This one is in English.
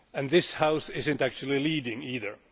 This House is not actually leading, either.